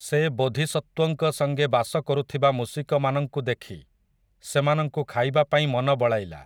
ସେ ବୋଧିସତ୍ତ୍ୱଙ୍କ ସଙ୍ଗେ ବାସ କରୁଥିବା ମୂଷିକମାନଙ୍କୁ ଦେଖି, ସେମାନଙ୍କୁ ଖାଇବା ପାଇଁ ମନ ବଳାଇଲା ।